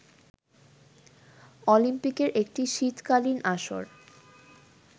অলিম্পিকের একটি শীতকালীন আসর